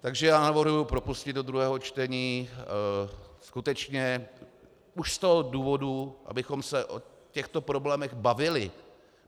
Takže já navrhuji propustit do druhého čtení skutečně už z toho důvodu, abychom se o těchto problémech bavili.